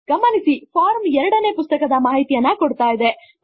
ಗಮನಿಸಿ ಫಾರ್ಮ್ ಎರಡನೇ ಪುಸ್ತಕದ ಮಾಹಿತಿಯನ್ನು ಕೊಡುತ್ತಿದೆ